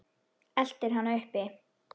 Eltir hana uppi.